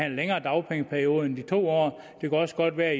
en længere dagpengeperiode end de to år det kan også godt være